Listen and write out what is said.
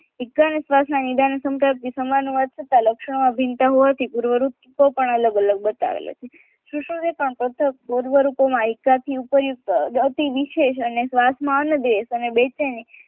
ઇકાન અને શ્વાસના સંદર્ભમાં સમાન હોવા છતાં લક્ષણ અભિન્નતા હોવાથી પૂર્વ રૂપો પણ અલગ અલગ બતાવેલ છે શોષણ કથન એકાથી ઉપરયુક્ત અતિ વિશેષ અને શ્વાસમાં અન્નદેવ અને બેચેની